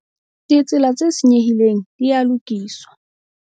Ditsela tse senyehileng di a lokiswa.